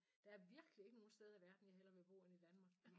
Der er virkelig ikke nogen steder i verden jeg hellere vil bo end i Danmark